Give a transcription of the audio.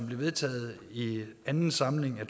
blev vedtaget i anden samling af